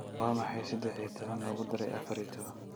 waa maxay saddex iyo toban lagu daray afar iyo toban